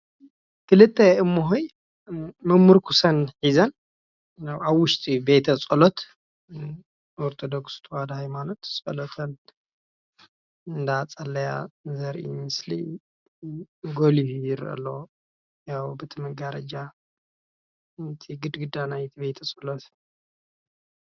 ክልተ እሞሆይ መምርኩሰን ሒዘን ኣብ ውሽጢ ቤ ፀሎት ኦርቶደኩስ ሃይማኖት ፆለተን እንዳፀለያ ዘርኢ ምስሊ ጎሊሁ ይረአ ኣሎ በቲ ማጋረጃ በቲ ግድግዳ ቤተ ፀሎት፡፡